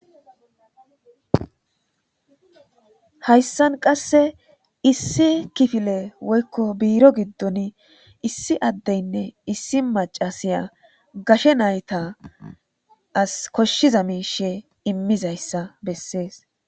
Haysan qase issi kifilen woyko biro gidoni issi adeyne issi macay gashe naytas koshiza mishe immishe dizaysa qoncisses